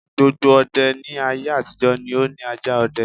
Gbogbo ọdẹ ní aye-àtijọ́ ni ó ni ajá ọdẹ.